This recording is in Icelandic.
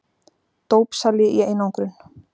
Dópsali í einangrun.